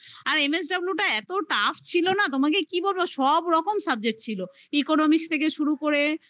আর MSW টা এত tough ছিল